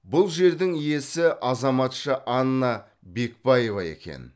бұл жердің иесі азаматша анна бекбаева екен